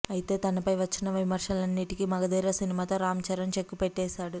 అయితే తనపై వచ్చిన విమర్శలన్నింటికీ మగధీర సినిమాతో రామ్ చరణ్ చెక్ పెట్టేశాడు